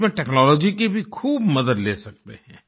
इसमें टेक्नोलॉजी की भी खूब मदद ले सकते हैं